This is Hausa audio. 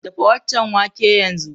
Dafa waccan wake yanzu!